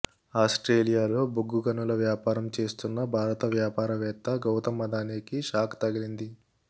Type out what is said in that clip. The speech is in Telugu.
ఆస్ట్రేలియాలో బొగ్గు గనుల వ్యాపారం చేస్తున్న భారత వ్యాపార వేత్త గౌతమ్ అదానీకి షాక్ తగిలింది